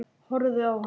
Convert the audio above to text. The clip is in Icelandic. Ég horfði á hann.